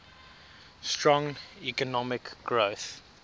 strong economic growth